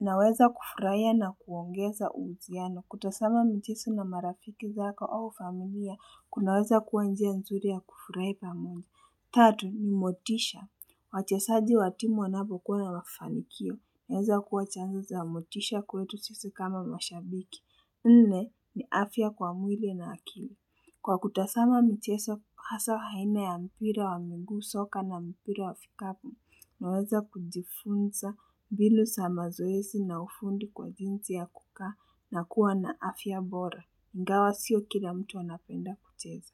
naweza kufurahia na kuongeza uhusiano. Kutazama michezo na marafiki zaka au familia kunaweza kuwa njia nzuri ya kufurahi pamoja. Tatu, ni motisha. Wachezaji wa timu wanavyo kuwa na mafanikio. Naweza kuwa chanzo cha motisha kwetu sisi kama mashabiki. Nne ni afya kwa mwili na akili. Kwa kutazama michezo hasa haina ya mpira wa miguu, soka na mpira wa vikapu, naweza kujifunza mbinu za mazoezi na ufundi kwa jinsi ya kukaa na kuwa na afya bora. Ingawa sio kila mtu anapenda kucheza.